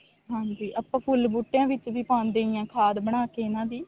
ਹਾਂਜੀ ਆਪਾਂ ਫੁੱਲ ਬੂਟਿਆ ਵਿੱਚ ਪਾਉਂਦੇ ਹਾਂ ਖਾਧ ਬਣਾ ਕੇ ਹੀ ਇਹਨਾ ਦੀ